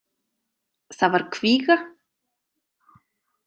Það var kvíga.